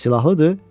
Silahlıdır?